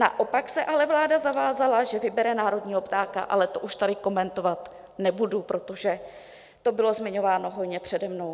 Naopak se ale vláda zavázala, že vybere národního ptáka, ale to už tady komentovat nebudu, protože to bylo zmiňováno hojně přede mnou.